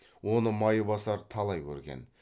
оны майбасар талай көрген